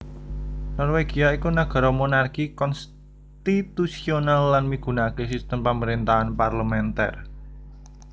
Norwegia iku nagara monarki konstitusional lan migunakaké sistem pamaréntahan parlementer